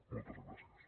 moltes gràcies